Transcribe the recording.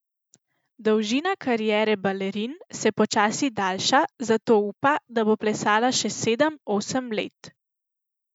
Dolžina kariere balerin se počasi daljša, zato upa, da bo plesala še sedem, osem let.